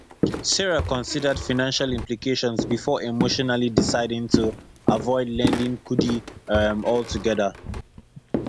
sarah considered financial implications before emotionally deciding to avoid lending kudi um altogether